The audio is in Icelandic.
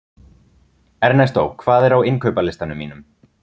Ernestó, hvað er á innkaupalistanum mínum?